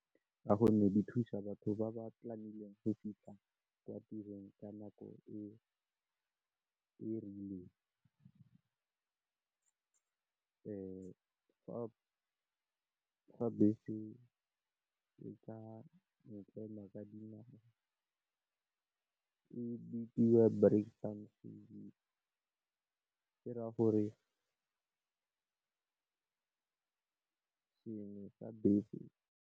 Ka gonne di thusa batho ba ba planileng go fitlha kwa tirong ka nako e e rileng. Fa bese e ka e tlela ka dinawa e bidiwa brakpan ke ka gore sengwe sa bese.